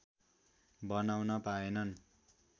बनाउन पाएनन्